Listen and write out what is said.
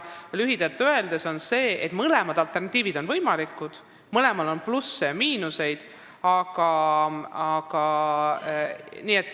Lühidalt öeldes on mõlemad variandid võimalikud, mõlemal on plusse ja miinuseid.